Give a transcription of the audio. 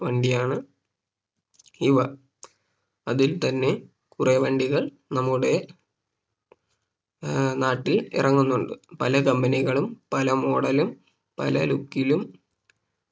വണ്ടിയാണ് ഇവ അതിൽ തന്നെ കുറേ വണ്ടികൾ നമ്മുടെ ഏർ നാട്ടിൽ ഇറങ്ങുന്നുണ്ട് പല Company കളും പല Model ലും പല Look ലും